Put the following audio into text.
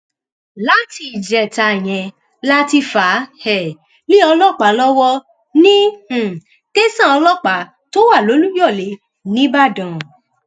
láti ìjẹta yẹn la ti fà á um lé ọlọpàá lọwọ ní um tẹsán ọlọpàá tó wà lolùyọlẹ nìbàdàn